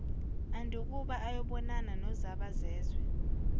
andukuba ayobonana nozabazezwe